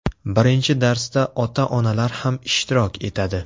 Birinchi darsda ota-onalar ham ishtirok etadi.